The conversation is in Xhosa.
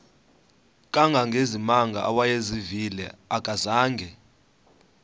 kangangezimanga awayezivile akazanga